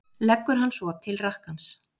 Leggur hann svo til rakkans.